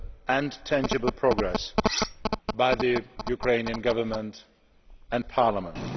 and tangible progress by the Ukrainian Government and Parliament.